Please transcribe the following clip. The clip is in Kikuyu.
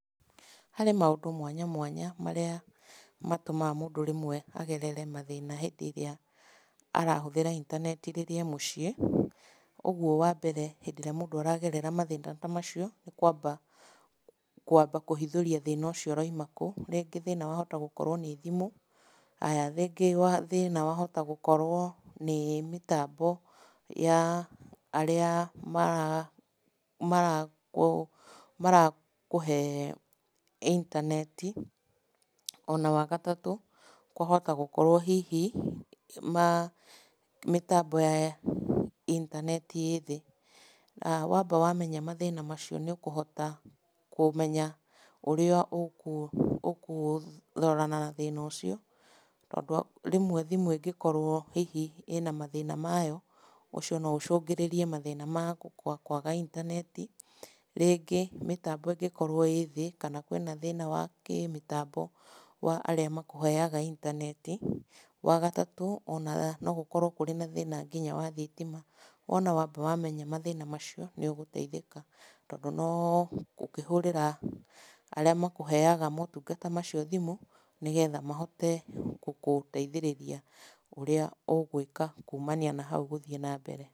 Harĩ maũndũ mwanya marĩa matũmaga mũndũ rĩmwe agerere mathĩna hĩndĩ ĩrĩa arahũthĩra intaneti rĩrĩa ee mũciĩ. Ũguo wa mbere hĩndĩ ĩrĩa mũndũ aragerera mathĩna ta macio, nĩ kwamba kwamba kũhithũria thĩna ũcio ũraima kũ. Rĩngĩ thĩna wahota gũkorwo nĩ thimũ. Haya, rĩngĩ thĩna wahota gũkorwo nĩ mĩtambo ya arĩa marakũhe intaneti. Ona wa gatatũ, kwahota gũkorwo hihi, mĩtambo ya intaneti ĩ thĩ. Na wamba wamenya mathĩna macio nĩ ũkũhota kũmenya ũrĩa ũkũrorana na thĩna ũcio, tondũ rĩmwe thimũ ĩngĩkorwo hihi ĩna mathĩna mayo, ũcio no ũcũngĩrĩrie mathĩna ma kwaga intaneti. Rĩngĩ mĩtambo ĩngĩkorwo ĩ thĩ, kana kwĩ na thĩna wa kĩmĩtambo wa arĩa makũheaga intaneti. Wa gatatũ, ona no gũkorwo kũrĩ na thĩna nginya wa thitima. Wona wamba wamenya mathĩna macio, nĩ ũgũteithĩka. Tondũ no gũkĩhũrĩra arĩa makũheaga motungata macio thimũ, nĩgetha mahote gũkũteithĩrĩria ũrĩa ũgwĩka kumania na hau gũthiĩ na mbere.